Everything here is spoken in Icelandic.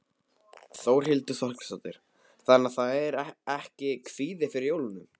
Þórhildur Þorkelsdóttir: Þannig að það er ekki kvíði fyrir jólunum?